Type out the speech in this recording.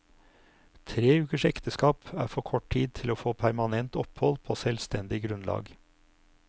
Tre ukers ekteskap er for kort tid til å få permanent opphold på selvstendig grunnlag.